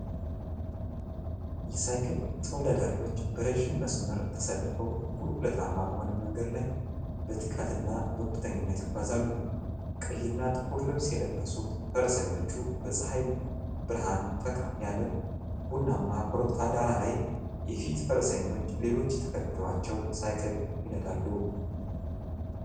የሳይክል ተወዳዳሪዎች በረጅም መስመር ተሰልፈው፤ ቁልቁለታማ በሆነ መንገድ ላይ በትጋት እና በቁርጠኝነት ይጓዛሉ። ቀይና ጥቁር ልብስ የለበሱት ፈረሰኞች፣ በፀሐይ ብርሃን ፈካ ያለ ቡናማ ኮረብታ ዳራ ላይ፣ የፊት ፈረሰኞች ሌሎች ተከትለዋቸው ሳይክል ይነዳሉ።